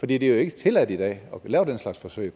det er jo ikke tilladt i dag at lave den slags forsøg